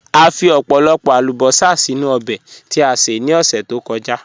À fí ọ̀pọ̀lọ̀pọ̀ àlùbọ́sà sínu òbè tí a ṣè ní ọṣẹ̀ tó kọ̀já.